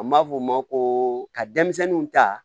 An b'a f'o ma ko ka denmisɛnninw ta